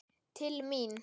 Til mín?